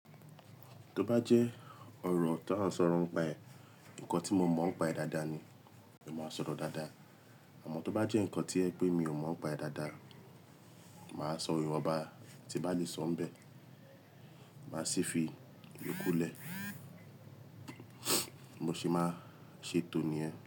Tó bá jẹ́ ọ̀rọ̀ tà ń sọ̀rọ̀ ń paẹ̀, ǹkan tí mo mọ̀ ọ́n paẹ̀ dáadáa ni èmi máa sọ̀rọ̀ dáadáa. Àmọ́ tó bá jẹ́ ǹkan tí yẹ pé mi ò mọ̀ ọ́n paẹ̀ dáadáa, màá sọ ìwà bá ti ń bá lè sọ̀ ń bẹ̀, màá sì fi ìyókù lẹ̀, mo se máa ṣètò níyẹn.